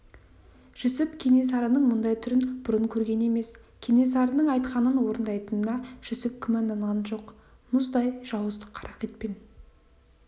жүсіп кенесарының мұндай түрін бұрын көрген емес кенесарының айтқанын орындайтынына жүсіп күмәнданған жоқ мұндай жауыздық қаракетпен